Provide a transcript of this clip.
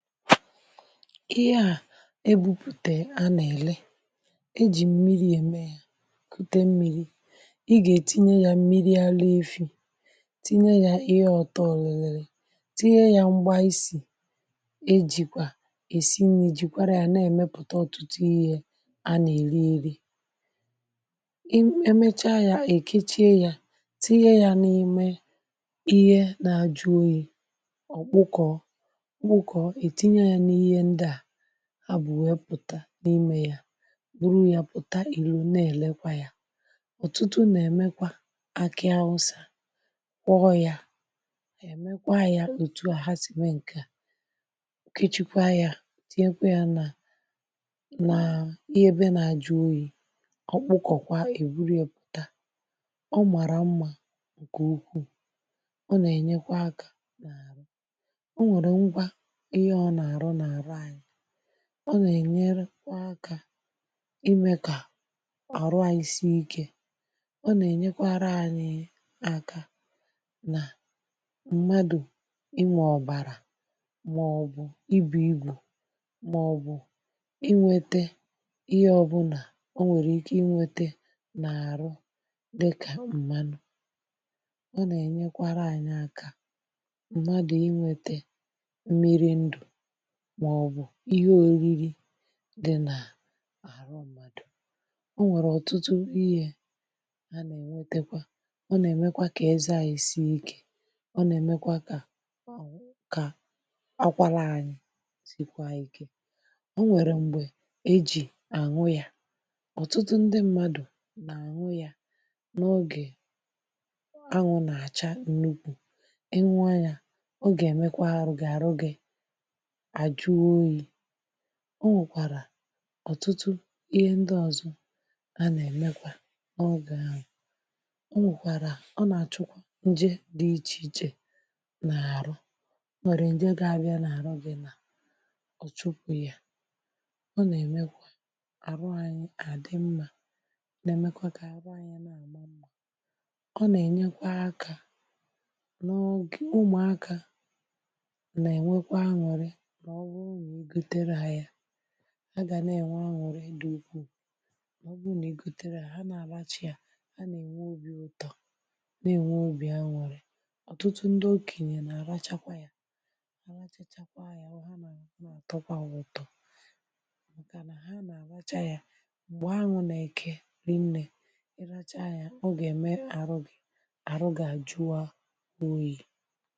Ihe a ebupùte a nà-èle, e jì mmiri ème ya, kụte mmiri, i gà-ètinye ya mmiri ala Efi, tinye ya ihe ọtọ lèlèlè, tinye ya mgba isì ejìkwà èsi nri jìkwara ya na-èmepùte ọ̀tụtụ ihe a nà-èri eri. um Emechaa ya, èkechie ya, tinye ya n’ime ihe na-ajụ oyi okpuko okpuko ètinye ya n’ihe ndia ha bụ wee pụta n’ime ya, bụru ya pụta ìlò na-èlekwa ya. Ọ̀tụtụ nà-èmekwa akị awụsà, kwọ ya èmekwa ya òtù a hà si mee ǹke à, kịchịkwa ya, tinyekwa ya nà nà ihe ebe na-ajụ oyi, ọ kpụkọkwa èburìe pùta, ọ màrà mmà ǹkè ukwuù, ọ nà-ènye kwa akȧ na-arụ. O nwèrè ngwa ị ha o na-arụ na arụ anyị, nà-ènyeru kwa akȧ imė kà àrụ ànyị sie ikė, ọ nà-ènyekwara ànyị aka nà mmadụ inwè ọbàrà mà ọ bụ ibù ibù mà ọ bụ inwete ihe ọbụla o nwèrè ike inwete nà-àrụ dịkà mmanụ, ọ nà-ènyekwara ànyị aka mmadụ inweta mmiri ndụ mà ọ bụ ihe òriri di nà àrụ mmadụ. O nwèrè ọ̀tụtụ ihe a nà-ènwetekwa, ọ nà-èmekwa kà eze ànyị sie ikė, ọ nà-èmekwa kà kà akwala anyị sì kwa ịke. O nwèrè mgbè ejì àṅụ ya. Ọ̀tụtụ ndị mmadụ nà-àṅụ ya n’ọgè anwụ nà-àcha ǹnukwu, ịṅụ onyà, ọ gà-èmekwa arụ gị arụ gị ajụ oyi. O nwèkwàrà ọ̀tụtụ ihe ndị ọzọ a nà-èmekwa n’oge ahụ, o nwèkwàrà, ọ nà-àchụkwa nje dị ichè ichè nà-àrụ, o nwèrè nje ga-abịa nà-àrụ gị nà ọ chụpụ ya, ọ nà-èmekwa àrụ anyị àdị mmà, nà-èmekwa kà àrụ anyị n’àma mmà, ọ nà-ènyekwa akȧ, n’ogì, ụmụakȧ nà-ènwe kwa aṅụrị mà ọ bụrụ nà-egotere ha ya, ha ga na-enwe aṅụrị dị ukwuu, mà ọ bụrụ n’egotere ya, ha nà-àracha, ha nà-ènwe obi ụtọ, nà-ènwe obi aṅụrị, ọ̀tụtụ ndị okènyè nà-àrachakwa ya, ha rachachakwa ya, ha na, ọ nà-àtọkwa ha ụtọ, màkà nà ha nà-àracha ya mgbè aṅụ na-èke rie nnė, ị racha yȧ, ọ gà-ème àrụ gị àrụ gị àjụ oyi.